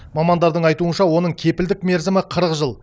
мамандардың айтуынша оның кепілдік мерзімі қырық жыл